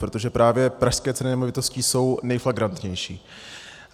Protože právě pražské ceny nemovitostí jsou nejflagrantnější.